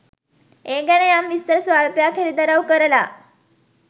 ඒ ගැන යම් විස්තර ස්වල්පයක් හෙළිදරව් කරලා